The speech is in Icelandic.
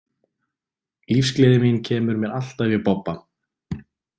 Lífsgleði mín kemur mér alltaf í bobba.